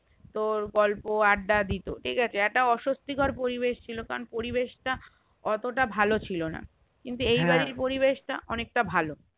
তোর গল্প আড্ডা দিতো ঠিকাছে একটা অসস্থিকর পরিবেশ ছিল কারণ পরিবেশ তা অতটা ভালো ছিলোনা কিন্তু এই বাড়ির পরিবেশ তা অনেক তা ভালো